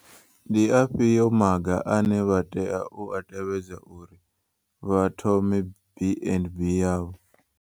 Ndi afhio maga ane vha tea u a tevhedza uri vha thome BandB yavho?